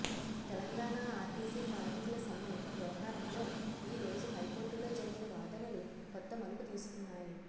Telangana RTC కార్మికుల సమ్మె వ్యవహారం లో ఈ రోజు హైకోర్టులో జరిగిన వాదనలు కొత్త మలుపు తీసుకున్నాయి